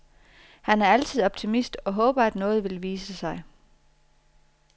Han er altid optimist og håber at noget vil vise sig.